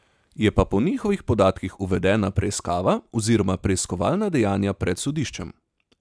Je pa po njihovih podatkih uvedena preiskava oziroma preiskovalna dejanja pred sodiščem.